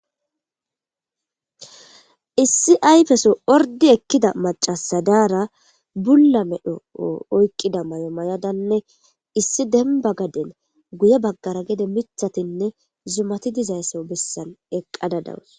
issi aypeso ordi ekkida macasadaara bulla medho oykqida may7o may7adanne issi demba gaden guye baggara gede mithatinne zumati dizaysso bessan eqqada dawus